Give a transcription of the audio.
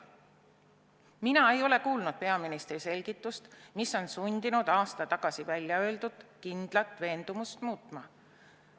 " Mina ei ole kuulnud peaministri selgitust, mis on sundinud aasta tagasi väljaöeldud kindlat veendumust muutma.